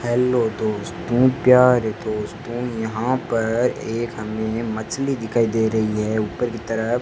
hello दोस्तों प्यारे दोस्तों यहां पर एक हमें मछली दिखाई दे रही है ऊपर की तरफ --